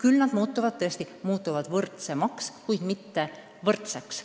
Pensionid muutuvad küll võrdsemaks, kuid mitte võrdseks.